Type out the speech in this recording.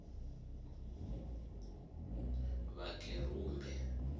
vhakerumbe